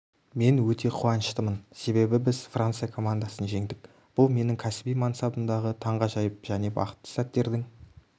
мен өте қуаныштымын себебі біз франция командасын жеңдік бұл менің кәсіби мансабымдағы таңғажайып және бақытты сәттердің